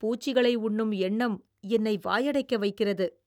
பூச்சிகளை உண்ணும் எண்ணம் என்னை வாயடைக்க வைக்கிறது.